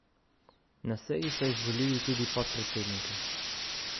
Na seji so izvolili tudi podpredsednike.